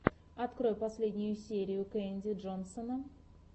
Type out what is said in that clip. открой последнюю серию кэнди джонсона